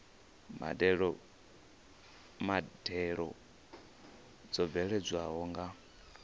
badela mbadelo dzo bveledzwaho nga